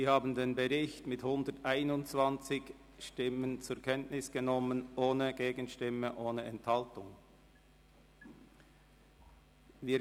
Sie haben den Bericht mit 121 Stimmen ohne Gegenstimme und ohne Enthaltung zur Kenntnis genommen.